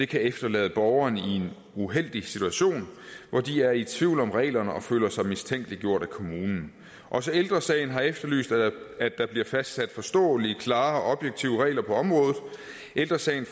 kan efterlade borgerne i en uheldig situation hvor de er i tvivl om reglerne og føler sig mistænkeliggjort af kommunen også ældre sagen har efterlyst at der bliver fastsat forståelige klare og objektive regler på området ældre sagen